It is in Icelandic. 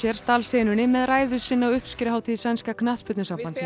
stal senunni með ræðu sinni á uppskeruhátíð sænska